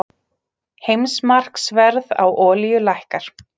Heimsmarkaðsverð á olíu lækkar